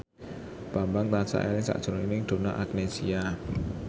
Bambang tansah eling sakjroning Donna Agnesia